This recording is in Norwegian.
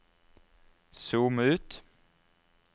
zoom ut